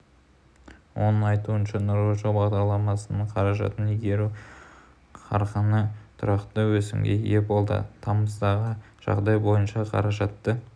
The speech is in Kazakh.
оның айтуынша нұрлы жол бағдарламасының қаражатын игеру қарқыны тұрақты өсімге ие болды тамыздағы жағдай бойынша қаражатты